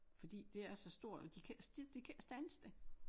Fordi det er så stort og de kan ikke de kan ikke standse det